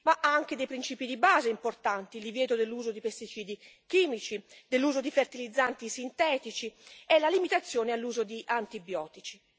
Enuncia anche principi di base importanti il divieto dell'uso di pesticidi chimici e di fertilizzanti sintetici nonché la limitazione all'uso di antibiotici.